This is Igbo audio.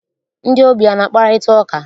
Ndị ogbii ana akparịta ụka?